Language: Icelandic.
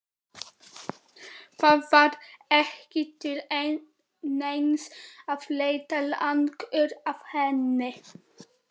Það var ekki til neins að leita lengur að henni.